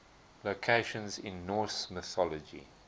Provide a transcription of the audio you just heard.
locations in norse mythology